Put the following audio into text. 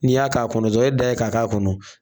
N'i y'a k'a kɔnɔ jɔ e dan ye k'a k'a kɔnɔ.